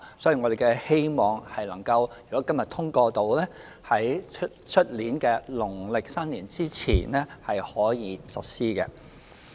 所以我們希望，如果今天《條例草案》獲得通過，可在明年農曆新年前實施。